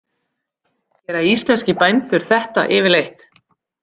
Gera íslenskir bændur þetta yfirleitt?